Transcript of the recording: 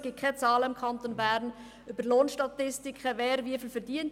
Es gibt keine Zahlen im Kanton Bern über Lohnstatistiken, wer wie viel verdient.